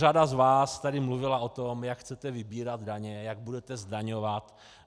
Řada z vás tady mluvila o tom, jak chcete vybírat daně, jak budete zdaňovat.